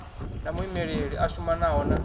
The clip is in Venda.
na muimeli a shumanaho na